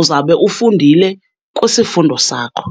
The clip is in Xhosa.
uzawube ufundile kwisifundo sakho.